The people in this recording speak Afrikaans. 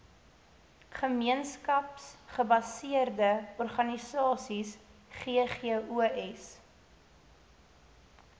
gemeenskapsgebaseerde organisasies ggos